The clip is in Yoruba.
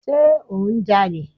Sé ò ń ja'lè?